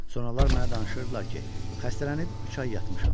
Sonralar mənə danışırdılar ki, xəstələnib üç ay yatmışam.